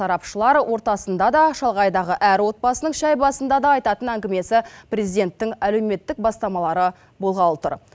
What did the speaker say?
сарапшылар ортасында да шалғайдағы әр отбасының шай басында да айтатын әңгімесі президенттің әлеуметтік бастамалары болғалы тұр